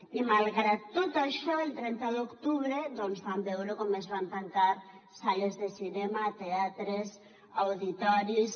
i malgrat tot això el trenta d’octubre vam veure com es van tancar sales de cinema teatres auditoris